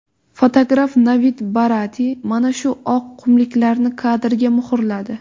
Fotograf Navid Barati mana shu oq qumliklarni kadrga muhrladi.